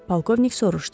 Polkovnik soruşdu.